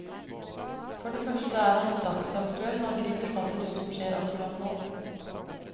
For det første er han dagsaktuell, han griper fatt i noe som skjer akkurat nå.